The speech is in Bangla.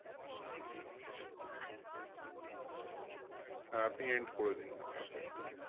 হ্যাঁ আপনি end করে দিন আপনার side থেকে